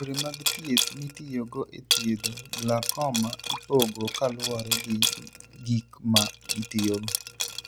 Yore mag thieth mitiyogo e thiedho glaucoma ipogo kaluwore gi gik ma gitiyogo.